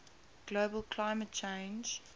global climate change